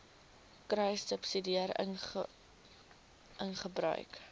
kruissubsidiëringgebruik